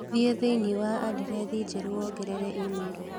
Thiĩ thĩinĩ wa andirethi njerũ wongerere i-mīrū